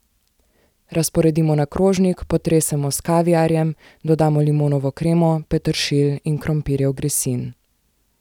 Razporedimo na krožnik, potresemo s kaviarjem, dodamo limonovo kremo, peteršilj in krompirjev grisin.